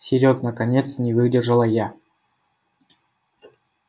серёг наконец не выдержала я